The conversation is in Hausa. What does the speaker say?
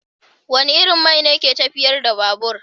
Wane irin man ne ke tafiyar da babur?